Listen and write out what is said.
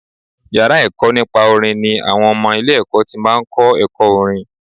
Yàrá ẹ̀kọ́ nípa orin ni àwọn ọmọ ilé ẹ̀kọ́ ti máa ń kọ́ ẹ̀kọ́ orin.